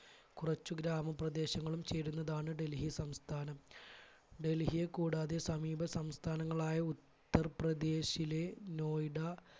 കുറച്ച് ഗ്രാമപ്രദേശങ്ങളും ചേരുന്നതാണ് ഡൽഹി സംസ്ഥാനം. ഡൽഹിയെ കൂടാതെ സമീപ സംസ്ഥാനങ്ങളായ ഉത്തർപ്രദേശിലെ നോയിഡ